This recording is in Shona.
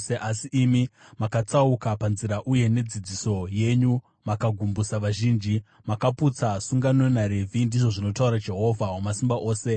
Asi imi makatsauka panzira uye nedzidziso yenyu makagumbusa vazhinji; makaputsa sungano naRevhi,” ndizvo zvinotaura Jehovha Wamasimba Ose.